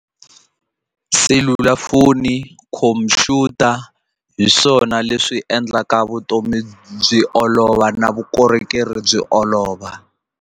Selulafoni, khompyuta hi swona leswi endlaka vutomi byi olova na vukorhokeri byi olova.